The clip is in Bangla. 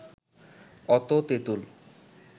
অত তেঁতুল